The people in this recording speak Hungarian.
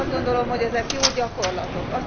Azt gondolom, hogy ezek jó gyakorlatok.